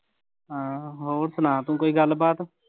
ਹਾਂ ਹੋਰ ਸੁਣਾ ਤੂੰ ਕੋਈ ਗੱਲਬਾਤ?